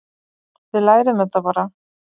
Við lærum þetta bara.